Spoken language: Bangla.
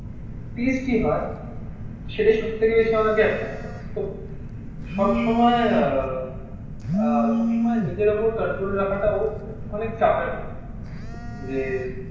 টেস্টি হয়. সেটাই সব থেকে বেশি আমাদেরকে অ্যাট্রাক্ট করে. তো সবসময় আহ সব সময় নিজের ওপর কন্ট্রোল রাখাটাও অনেক চাপের হয় যে